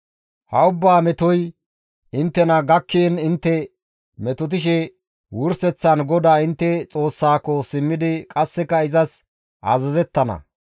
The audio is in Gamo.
Ha ubbaa metoy inttena gakkiin intte metotishe wurseththan GODAA intte Xoossaako simmidi qasseka izas azazettana.